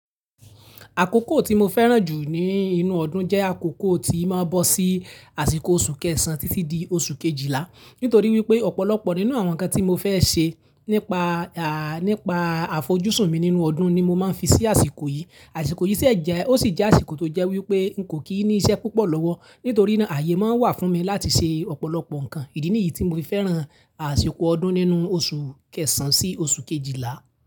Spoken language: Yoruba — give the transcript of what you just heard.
Àkókò tí mo fẹ́ràn jù ní inú ọdún jẹ́ àkókò tí máa ń bọ sí àsìkò oṣù kẹsàn án títí di oṣù kejìlá. Nitori wipe opolopo ninu awon nnkan tii mo fe se nipa afojusun mi ninu odun ni mo maa n fi si iru asiko yii. Asiko yii si j e asiko to je wipe ko kii si ise pupo lowo mi nítorí náà, ààyè máa ń wà fún mi láti ṣe ọ̀pọ̀lọpọ̀ ǹkan. Ìdí nìyí tí mo fi fẹ́ràn àsìkò ọdún nínú oṣù kẹsàn-án sí oṣù kejìlá.